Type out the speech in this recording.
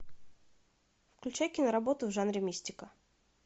включай киноработу в жанре мистика